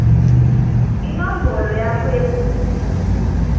inombolo yakho yebulunga